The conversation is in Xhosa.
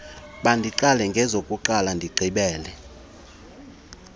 mandiqale ngezokuqala ndigqibele